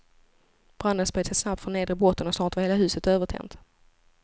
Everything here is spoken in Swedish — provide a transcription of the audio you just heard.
Branden spred sig snabbt från nedre botten och snart var hela huset övertänt.